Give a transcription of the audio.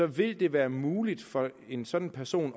vil det være muligt for en sådan person